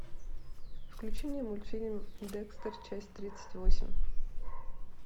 включи мне мультфильм декстер часть тридцать восемь